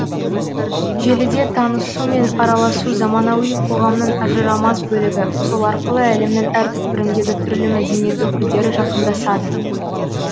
желіде танысу мен араласу заманауи қоғамның ажырамас бөлігі сол арқылы әлемнің әр түкпіріндегі түрлі мәдениет өкілдері жақындасады